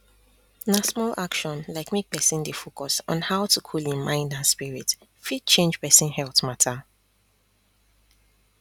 na small action like make pesin dey focus on how to cool hin mind and spirit fit change pesin health mata